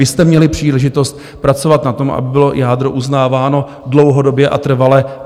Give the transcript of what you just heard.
Vy jste měli příležitost pracovat na tom, aby bylo jádro uznáváno dlouhodobě a trvale.